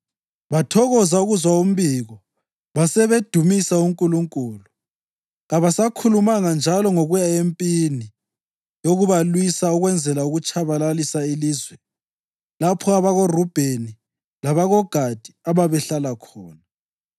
Bathokoza ukuzwa umbiko basebedumisa uNkulunkulu. Kabasakhulumanga njalo ngokuya empini yokubalwisa ukwenzela ukutshabalalisa ilizwe lapho abakoRubheni labakoGadi ababehlala khona.